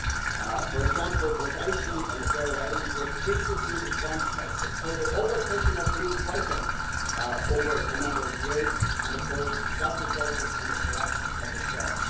By way of an example, both Iceland and the Faroe Islands were previously responsible for the overfishing of blue whiting over a number of years and, of course, that resulted in the collapse of the stock.